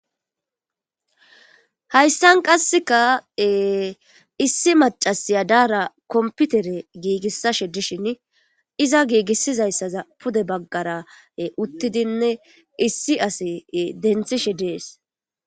hayssan qasseka issi macasiya daara komputere giigissashe dishin iza giigissizayssaza pude baggara uttidinne issi asi denthishe dees